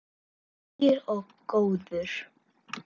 Hlýr og góður.